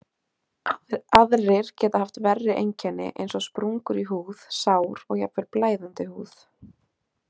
Aðrir geta haft verri einkenni eins og sprungur í húð, sár og jafnvel blæðandi húð.